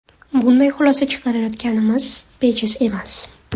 Bunday xulosa chiqarayotganimiz bejiz emas.